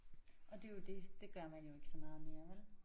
Og det jo det det gør man jo ikke så meget mere vel